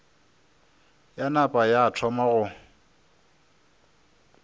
ya napa ya thoma go